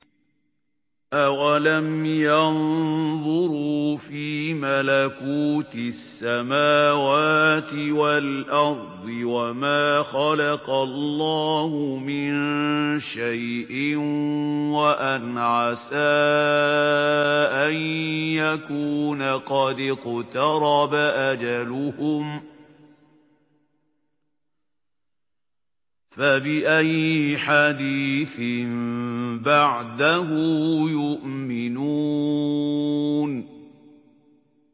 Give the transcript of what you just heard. أَوَلَمْ يَنظُرُوا فِي مَلَكُوتِ السَّمَاوَاتِ وَالْأَرْضِ وَمَا خَلَقَ اللَّهُ مِن شَيْءٍ وَأَنْ عَسَىٰ أَن يَكُونَ قَدِ اقْتَرَبَ أَجَلُهُمْ ۖ فَبِأَيِّ حَدِيثٍ بَعْدَهُ يُؤْمِنُونَ